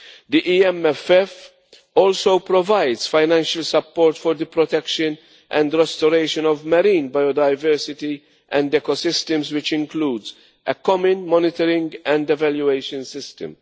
The EMFF also provides financial support for the protection and restoration of marine biodiversity and ecosystems, which includes a common monitoring and evaluation system.